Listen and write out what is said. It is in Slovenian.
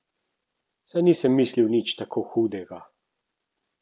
Saj nisem mislil nič tako hudega.